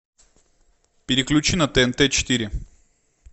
переключи на тнт четыре